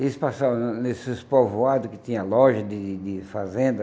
Eles passavam na nesses povoados que tinham lojas de de fazendas.